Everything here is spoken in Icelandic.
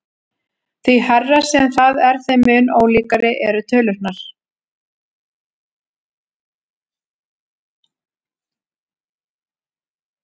Því hærra sem það er þeim mun ólíkari eru tölurnar.